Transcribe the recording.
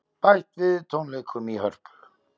Bætt við tónleikum í Hörpu